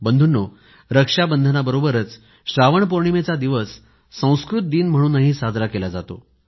बंधूंनो रक्षाबंधनाबरोबरच श्रावण पौर्णिमेचा दिवस संस्कृत दिन म्हणूनही साजरा केला जातो